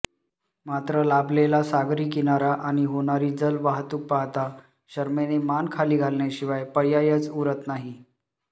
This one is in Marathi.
मात्र लाभलेला सागरी किनारा आणि होणारी जलवाहतूक पाहता शरमेने मान खाली घालण्याशिवाय पर्यायच उरत नाही